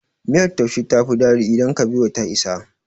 Miyar taushe ta fi daɗi idan kabewa ta isa.